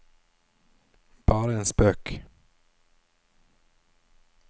bare en spøk